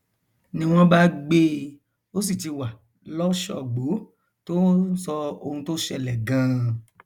ni wọn bá gbé e ó sì ti wà lọsọgbó tó ń sọ ohun tó ṣẹlẹ ganan